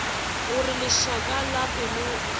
gore lešaka la pelo ga